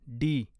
D